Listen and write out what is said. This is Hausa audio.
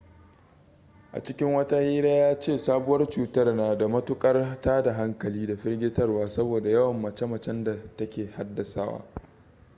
a cikin wata hira ya ce sabuwar cutar na da matukar tada hankali da firgitarwa saboda yawan mace-macen da ta ke haddasawa